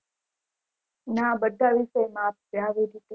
ના બઘા એવું same આપ